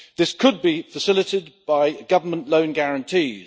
This could be facilitated by government loan guarantees.